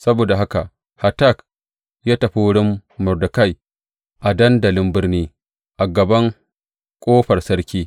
Saboda haka Hatak ya tafi wurin Mordekai a dandalin birni, a gaban ƙofar sarki.